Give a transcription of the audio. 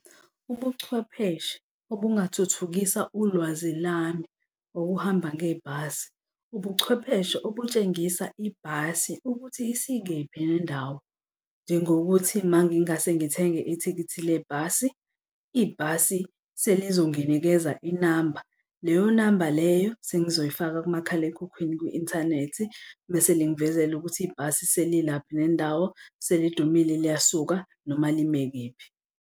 Ubuchwepheshe obungathuthukisa ulwazi lami wokuhamba ngebhasi, ubuchwepheshe okutshengisa ibhasi ukuthi isikephi nendawo. Njengokuthi uma ngingase ngithenge ithikithi lebhasi, ibhasi selizonginikeza inamba, leyo namba leyo sengizoyifaka kumakhalekhukhwini ku-inthanethi mese lingivezela ukuthi ibhasi selilaphi nendawo selidumile liyasukuma noma lime kephi.